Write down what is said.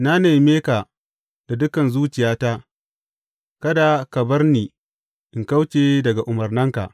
Na neme ka da dukan zuciyata; kada ka bar ni in kauce daga umarnanka.